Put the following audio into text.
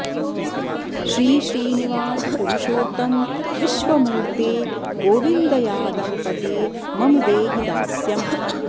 श्रीश्रीनिवास पुरुषोत्तम विश्वमूर्त्ते गोविन्द यादवपते मम देहि दास्यम्